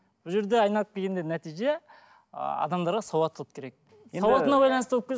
бұл жерде айналып келгенде нәтиже ааа адамға сауаттылық керек сауатына байланысты болып